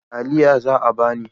Taliya za a ba ni.